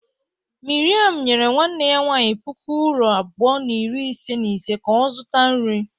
Miriam nyere nwanne ya nwanyị puku uuro abụọ na iri ise na ise ka ọ zụta nri.